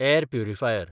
air purifier